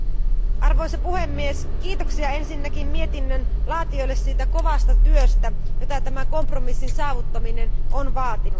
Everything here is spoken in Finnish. Arvoisa puhemies, kiitoksia ensinnäkin mietinnön laatijoille siitä kovasta työstä, jota tämä kompromissin saavuttaminen on vaatinut.